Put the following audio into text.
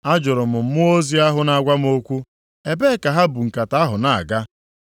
Ajụrụ m mmụọ ozi ahụ na-agwa m okwu, “Ebee ka ha bu nkata ahụ na-aga?”